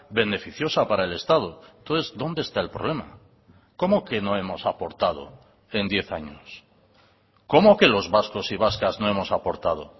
beneficiosa para el estado entonces dónde está el problema cómo que no hemos aportado en diez años cómo que los vascos y vascas no hemos aportado